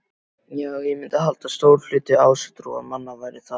Já, ég myndi halda að stór hluti ásatrúarmanna væri það.